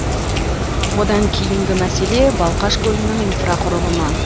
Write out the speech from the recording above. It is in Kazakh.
одан кейінгі мәселе балқаш көлінің инфрақұрылымы